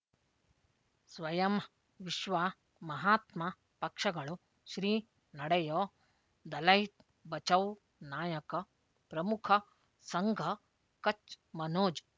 ಸ್ವಯಂ ವಿಶ್ವ ಮಹಾತ್ಮ ಪಕ್ಷಗಳು ಶ್ರೀ ನಡೆಯೋ ದಲೈ ಬಚೌ ನಾಯಕ ಪ್ರಮುಖ ಸಂಘ ಕಚ್ ಮನೋಜ್